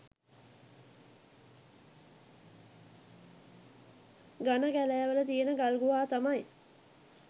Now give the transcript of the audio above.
ඝන කැලෑවල තියෙන ගල් ගුහා තමයි